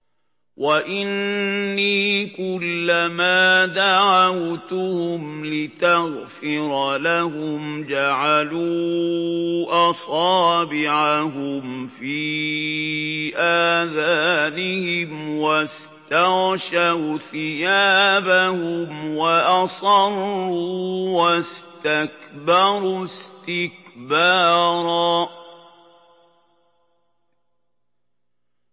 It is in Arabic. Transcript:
وَإِنِّي كُلَّمَا دَعَوْتُهُمْ لِتَغْفِرَ لَهُمْ جَعَلُوا أَصَابِعَهُمْ فِي آذَانِهِمْ وَاسْتَغْشَوْا ثِيَابَهُمْ وَأَصَرُّوا وَاسْتَكْبَرُوا اسْتِكْبَارًا